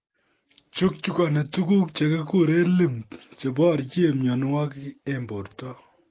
Chukchukgoni tuguk chekikuren lymph cheborien myonwogik en borto